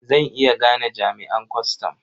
Zan iya gane jami'an kwastam.